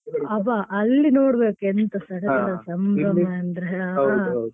ಅಬ್ಬಾ ಅಲ್ಲಿ ನೋಡ್ಬೇಕು ಎಂಥಾ ಸಡಗರ ಸಂಭ್ರಮ ಅಂದ್ರೆ .